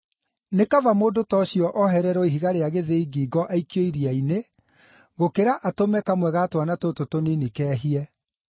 Nĩ kaba mũndũ ta ũcio ohererwo ihiga rĩa gĩthĩi ngingo aikio iria-inĩ, gũkĩra atũme kamwe ga twana tũtũ tũnini keehie.